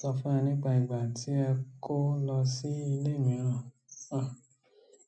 Sọ fún wa nípa ìgbà tí ẹ kó lọ sí ilé mìíràn. Ah,